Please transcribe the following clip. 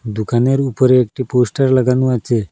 দোকানের উপরে একটি পোস্টার লাগানো আচে ।